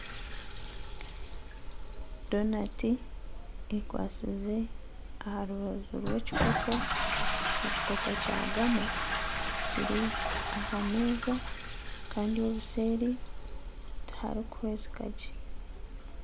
Donati ekwatsize aha rubaju rw'ekikopo , ekikopo Kya gama Kiri ahameza Kandi obuseeri tiharukuhwezika gye.